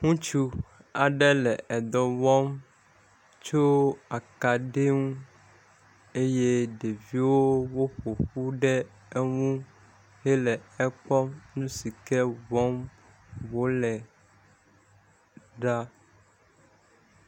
Ŋutsu aɖe le dɔ wɔm tso akaɖi ŋu eye ɖeviwo ƒoƒu ɖe eŋu hele ekpɔm nu si ke wɔm wole ɖa.